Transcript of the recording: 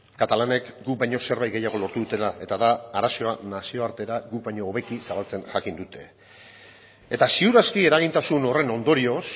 katalanek guk baino zerbait gehiago lortu dutela eta da arazoa nazioartera guk baino hobeki zabaltzen jakin dutela ziur aski eragintasun horren ondorioz